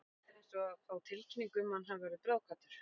Þetta er eins og að fá tilkynningu um að hann hafi orðið bráðkvaddur.